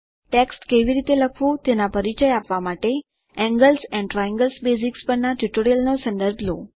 text કેવી રીતે લખવું તેના પરિચય માટે એન્ગલ્સ એન્ડ ટ્રાયંગલ્સ બેઝિક્સ પરના ટ્યુટોરીયલ નો સંદર્ભ લો